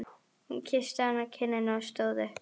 Hún kyssti hann á kinnina og stóð upp.